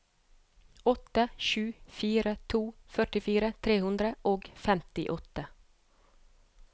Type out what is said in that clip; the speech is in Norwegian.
åtte sju fire to førtifire tre hundre og femtiåtte